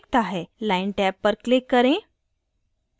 line tab पर click करें